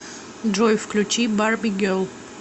джой включи барби герл